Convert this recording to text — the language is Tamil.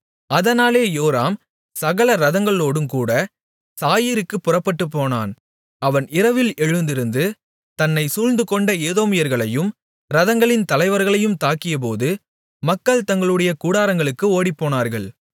அதனாலே யோராம் சகல இரதங்களோடுங்கூட சாயீருக்குப் புறப்பட்டுப் போனான் அவன் இரவில் எழுந்திருந்து தன்னைச் சூழ்ந்துகொண்ட ஏதோமியர்களையும் இரதங்களின் தலைவர்களையும் தாக்கியபோது மக்கள் தங்களுடைய கூடாரங்களுக்கு ஓடிப்போனார்கள்